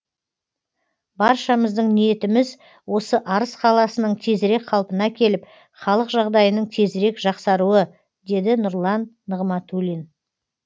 баршамыздың ниетіміз осы арыс қаласының тезірек қалпына келіп халық жағдайының тезірек жақсаруы деді нұрлан нығматулин